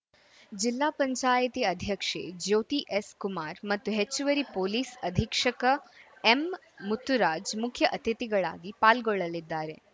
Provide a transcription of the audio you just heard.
ಜಿಲ್ಲಾ ಪಂಚಾಯಿತಿ ಅಧ್ಯಕ್ಷೆ ಜ್ಯೋತಿ ಎಸ್‌ ಕುಮಾರ್‌ ಮತ್ತು ಹೆಚ್ಚುವರಿ ಪೊಲೀಸ್‌ ಅಧೀಕ್ಷಕ ಎಂ ಮುತ್ತುರಾಜ್‌ ಮುಖ್ಯ ಅತಿಥಿಗಳಾಗಿ ಪಾಲ್ಗೊಳ್ಳಲಿದ್ದಾರೆ